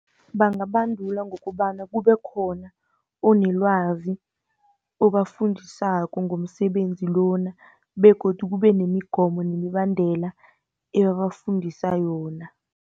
Bangabandulwa ngokobana kubekhona onelwazi obafundisako ngomsebenzi lona, begodu kube nemigomo nemibandela, ebabafundisa yona.